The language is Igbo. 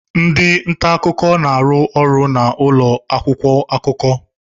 Ndị nta akụkọ na-arụ ọrụ n'ụlọ akwụkwọ akụkọ.